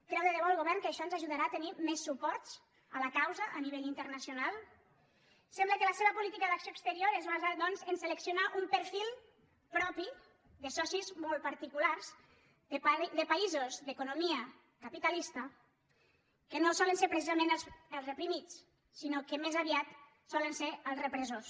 creu que debò el govern que això ens ajudarà a tenir més suports a la causa a nivell internacional sembla que la seva política d’acció exterior es basa doncs a seleccionar un perfil propi de socis molt particulars de països d’economia capitalista que no solen ser precisament els reprimits sinó que més aviat solen ser els repressors